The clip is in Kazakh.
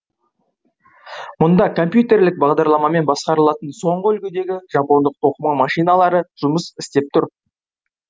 мұнда компьютерлік бағдарламамен басқарылатын соңғы үлгідегі жапондық тоқыма машиналары жұмыс істеп тұр